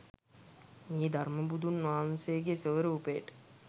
මේ ධර්ම බුදුන් වහන්සේගේ ස්වරූපයට